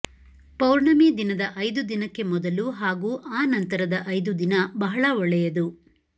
ಪೌರ್ಣಮಿ ದಿನದ ಐದು ದಿನಕ್ಕೆ ಮೊದಲು ಹಾಗೂ ಆ ನಂತರದ ಐದು ದಿನ ಬಹಳ ಒಳ್ಳೆಯದು